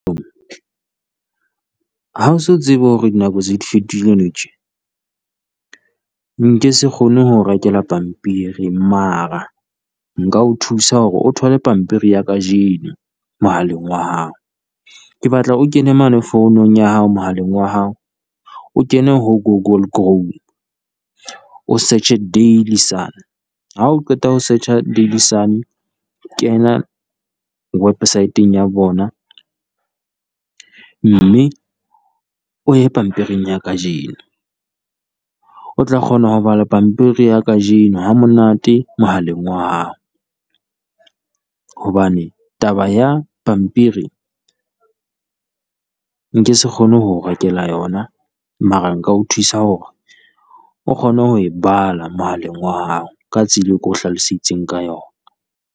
Ha o se tsebe hore dinako se di fetohile nou tje? Nke se kgone ho o rekela pampiri, mara nka o thusa hore o thole pampiri ya kajeno mohaleng wa hao. Ke batla o kene mane founung ya hao mohaleng wa hao, O kene ho Google Chrome o Search-e Daily Sun, ha o qeta ho search-a Daily Sun. Kena wepesaeteng ya bona mme o ye pamiring ya kajeno, o tla kgona ho bala pampiri ya kajeno ha monate mohaleng wa hao. Hobane taba ya pampiri nke se kgone ho o rekela yona, mara nka o thusa hore o kgone ho e bala mohaleng wa hao ka tsela e ke o hlaloseditseng ka yona.